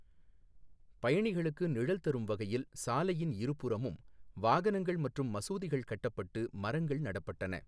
பயணிகளுக்கு நிழல் தரும் வகையில் சாலையின் இருபுறமும் வாகனங்கள் மற்றும் மசூதிகள் கட்டப்பட்டு மரங்கள் நடப்பட்டன.